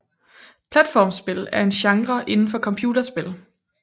Platformspil er en genre inden for computerspil